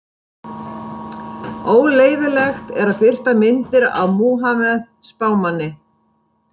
Óleyfilegt er að birta myndir af Múhameð spámanni.